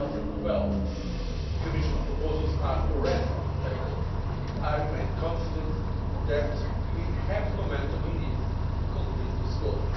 by 2012. The Commission proposals are already on the table. I remain confident that we have the momentum we need to complete this